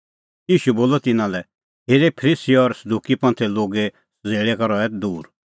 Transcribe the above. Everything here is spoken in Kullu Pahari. ईशू बोलअ तिन्नां लै हेरे फरीसी और सदुकी लोगे सज़ेल़ै का रहै दूर